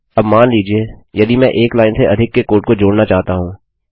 अब मान लीजिये यदि मैं 1 लाइन से अधिक के कोड को जोड़ना चाहता हूँ